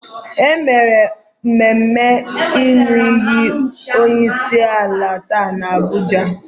E mere mmemme ịnụ iyi onyeisiala taa n'Abuja.